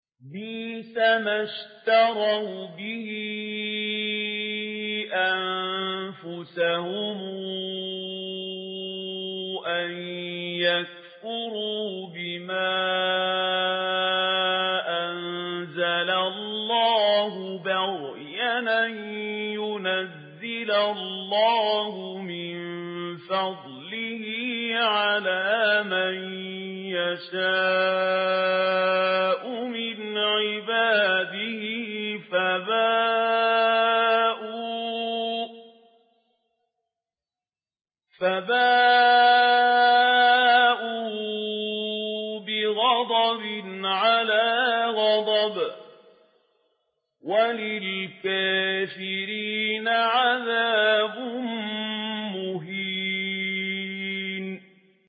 بِئْسَمَا اشْتَرَوْا بِهِ أَنفُسَهُمْ أَن يَكْفُرُوا بِمَا أَنزَلَ اللَّهُ بَغْيًا أَن يُنَزِّلَ اللَّهُ مِن فَضْلِهِ عَلَىٰ مَن يَشَاءُ مِنْ عِبَادِهِ ۖ فَبَاءُوا بِغَضَبٍ عَلَىٰ غَضَبٍ ۚ وَلِلْكَافِرِينَ عَذَابٌ مُّهِينٌ